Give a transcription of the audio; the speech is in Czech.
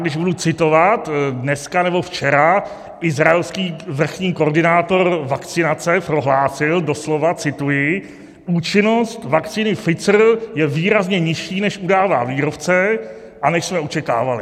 Když budu citovat, dneska nebo včera izraelský vrchní koordinátor vakcinace prohlásil doslova - cituji: "Účinnost vakcíny Pfizer je výrazně nižší, než udává výrobce a než jsme očekávali."